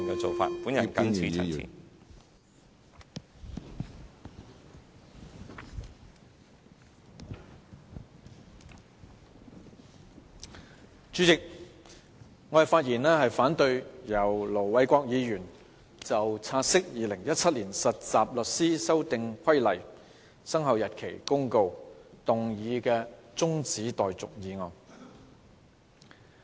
主席，我發言反對由盧偉國議員動議"現即將有關《〈2017年實習律師規則〉公告》的察悉議案的辯論中止待續"的議案。